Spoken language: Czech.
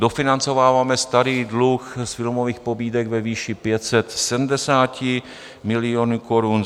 Dofinancováváme starý dluh z filmových pobídek ve výši 570 milionů korun.